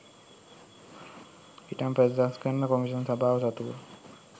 ඉඩම් ප්‍රතිසංස්කරණ කොම්ෂන් සභාව සතුව